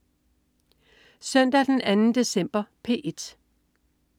Søndag den 2. december - P1: